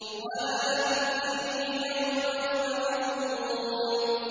وَلَا تُخْزِنِي يَوْمَ يُبْعَثُونَ